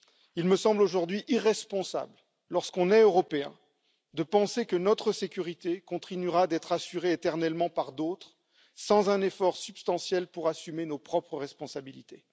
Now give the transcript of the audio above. Il me semble aujourd'hui irresponsable lorsqu'on est Européen de penser que notre sécurité continuera d'être assurée éternellement par d'autres, sans un effort substantiel pour assumer nos propres responsabilités.